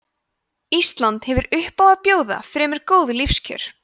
ísland hefur upp á að bjóða fremur góð lífskjör